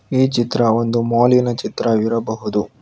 ಈ ಚಿತ್ರ ಒಂದು ಮಾಲ್ ಲಿನ ಚಿತ್ರ ಆಗಿರಬಹುದು.